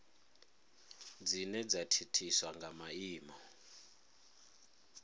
dzine dza thithiswa nga maimo